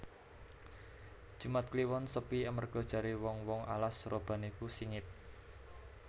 Jumat kliwon sepi amarga jare wong wong alas roban iku singit